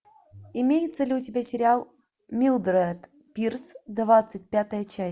имеется ли у тебя сериал милдред пирс двадцать пятая часть